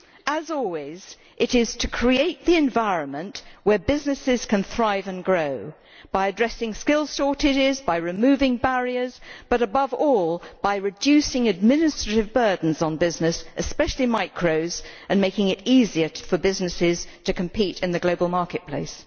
As always, it is to create the environment where businesses can thrive and grow, by addressing skills shortages and by removing barriers, but above all by reducing administrative burdens on business, especially micros, and making it easier for businesses to compete in the global market place.